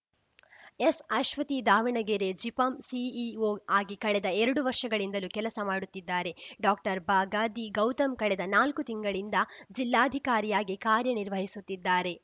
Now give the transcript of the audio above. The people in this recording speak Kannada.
ಎಸ್‌ಅಶ್ವತಿ ದಾವಣಗೆರೆ ಜಿಪಂ ಸಿಇಓ ಆಗಿ ಕಳೆದ ಎರಡು ವರ್ಷಗಳಿಂದಲೂ ಕೆಲಸ ಮಾಡುತ್ತಿದ್ದಾರೆ ಡಾಕ್ಟರ್ಬಗಾದಿ ಗೌತಮ್‌ ಕಳೆದ ನಾಲ್ಕು ತಿಂಗಳಿಂದ ಜಿಲ್ಲಾಧಿಕಾರಿಯಾಗಿ ಕಾರ್ಯ ನಿರ್ವಹಿಸುತ್ತಿದ್ದಾರೆ